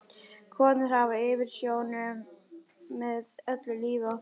Konur hafa yfirumsjón með öllu lífi okkar.